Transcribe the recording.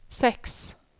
seks